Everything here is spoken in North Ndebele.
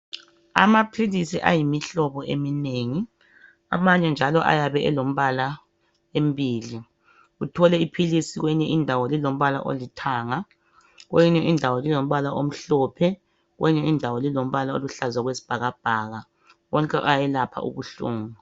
Amaphilisi ayimihlobo eminengi amanye njalo ayabe elombala embili uthole iphilisi kweyinye indawo lilombala olithanga kweyinye indawo lilombala omhlophe kweyinye indawo lilombala oluhlaza owekwesibhakabhaka wonke ayelapha ubuhlungu.